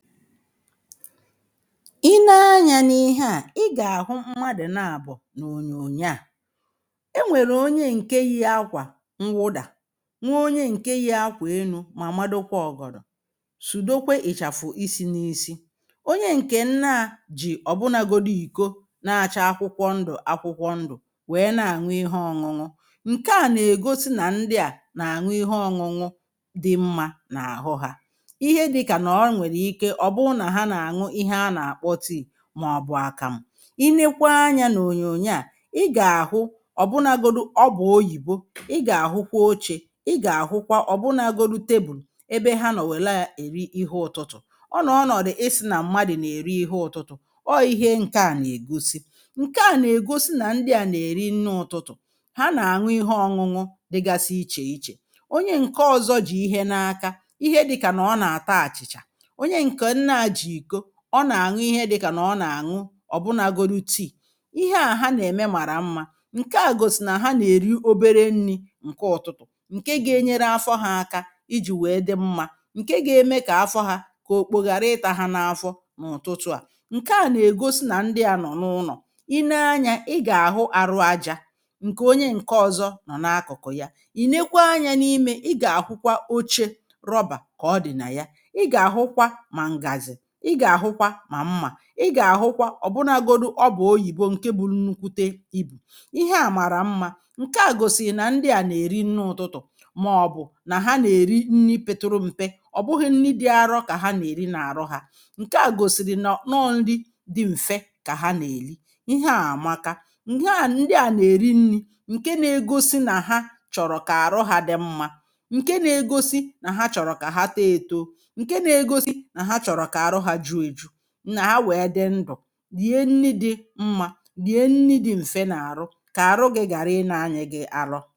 I nee anya n’ihe a i ga-ahụ mmadụ̀ na-abọ̀ n’ònyònyọ a e nwere ọnye nke yi akwa nwụda nwe ọnye nke yi akwa elụ ma madọkwa ọ̀gọ̀dọ̀ sụ̀dọkwe ị̀chafụ̀ isi n’isi ọnye nke nna jì ọ̀bụnagȯdụ ìkọ na-acha akwụkwọ ndụ̀ akwụkwọ ndụ̀ wee na-añu ihe ọ̇ñụ̇ñụ̀ nke a na-egọsi na ndị a na-añu ihe ọ̇ñụ̇ñụ̀ dị mma na ahụ ha ihe dịka na ọ nwelụ ike ọ bụ na ha na-añu ihe a na akpọ tii maọbụ̀ akamụ̀ i nekwa anya na ònyònyọ a ị ga-ahụ ọ̀ bụnagọdụ ọbụ̀ ọyìbọ ị ga-ahụkwa ọchė ị ga-ahụkwa ọ̀bụnagọdụ tebụ̀l ebe ha nọ̀wela eri ihe ụ̀tụtụ̀ ọ nọ̀ ọnọ̀dụ̀ i sina mmadụ̀ na-eri ihe ụ̀tụtụ̀ ọ ihe nke a na-egọsi nke a na-egọsi na ndị a na-eri nne ụ̀tụtụ̀ ha na-añụ ihe ọ̇ñụ̇ñụ̀ dịgasị iche iche ọnye nke ọ̀zọ jị̀ ihe na-aka ihe dịka na ọ na-ata achị̀cha ọnye nke nnaa ji ikọ ọ na-añụ ihe dịka na ọ na-añụ ọ̀bụna gọlụ tii ihe a ha na-eme mara mma nke a gòsị na ha na-eri ọbere nni̇ nke ụtụtụ̀ nke ga-enyere afọ ha aka ijì wee dị mma nke ga-eme ka afọ ha ka ọ̀kpọ̀ gharị ita ha n’afọ n’ụ̀tụtụ a nke a na-egọsi na ndị a nọ̀ n’ụnọ̀ i nee anya ị ga-ahụ arụ aja nke ọnye nke ọ̀zọ nọ̀ na-akụ̀kụ̀ ya ìnekwa anya n’imė ị ga-ahụkwa ọche rọba ka ọ dị̀ na ya ị ga-ahụkwa ma ngazi ị ga-ahụkwa ma mma ị ga-ahụkwa ọ̀bụnagọdụ ọba ọyìbọ nke bụlụ nnụkwụte ibụ̀ ihe a mara mma nke a gòsị̀rị̀ na ndị a na-eri nni ụtụtụ̀ maọ̀bụ̀ na ha na-eri nni petụrụ m̀pe ọ̀ bụghị̇ nne dị arọ ka ha na-eri na arụ ha nke a gòsị̀rị̀ nọọ nri dị m̀fe ka ha na-eli ihe a amaka nghe a ndị a na-eri nri̇ nke na-egọsi na ha chọ̀rọ̀ ka arụ ha dị mma nke na-egọsi na ha chọ̀rọ̀ ka ha tọọ etọ nke na-egọsi na ha chọ̀rọ̀ ka arụ ha jụọ ejụ. Na ha wee dị ndụ lie ihe dị̇ ndụ̀, lie nni̇ dị̇ mma, lie nni̇ dị̇ m̀fe n’arụ ka arụ gị̇ gara ịna anyị gị̇ arọ